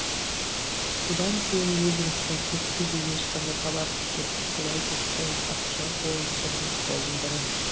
содан кейін ливингстон көпке дейін ешқандай хабарсыз кетті солай деді саяхатшы олар бірінің қолын бірі